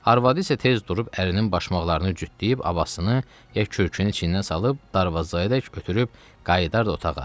Arvadı isə tez durub ərinin başmaqlarını cütdüyüb, abasını, ya kürkün içindən salıb, darvazayadək ötürüb qayıdardı otağa.